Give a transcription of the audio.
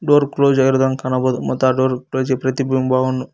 door close ಆಗಿರುವುದನ್ನು ಕಾಣಬಹುದು ಮತ್ ಆ ಡೋರ್ ಪ್ರಜಿ ಪ್ರತಿಬಿಂಬವನ್ನು --